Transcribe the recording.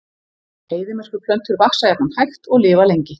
Eyðimerkurplöntur vaxa jafnan hægt og lifa lengi.